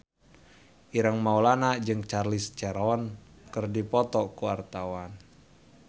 Ireng Maulana jeung Charlize Theron keur dipoto ku wartawan